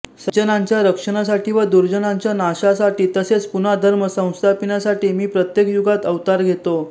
सज्जनांच्या रक्षणासाठी व दुर्जनांच्या नाशासाठी तसेच पुन्हा धर्म संस्थापिण्यासाठी मी प्रत्येक युगात अवतार घेतो